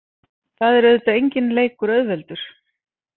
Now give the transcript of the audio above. Það er auðvitað enginn leikur auðveldur.